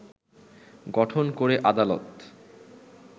গঠন করে আদালত